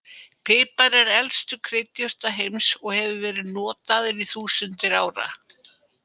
Pipar er með elstu kryddjurtum heims og hefur verið notaður í þúsundir ára.